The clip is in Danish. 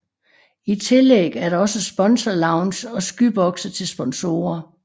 I tillæg er der også sponsorlounge og skyboxe til sponsorer